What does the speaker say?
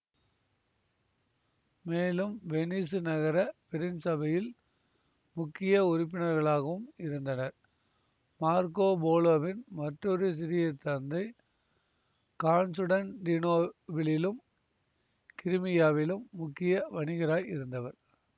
மேலும் வெனிசு நகர பெருஞ்சபையில் முக்கிய உறுப்பினர்களாகவும் இருந்தனர் மார்க்கோ போலோவின் மற்றொரு சிறிய தந்தை கான்சுடன்டீனோபிலிலும் கிரிமியாவிலும் முக்கிய வணிகராய் இருந்தவர்